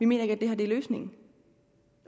mener at det her er løsningen